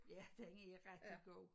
Ja den er rigtig god